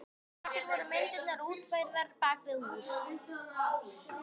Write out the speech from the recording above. Á eftir voru myndirnar útfærðar bak við hús.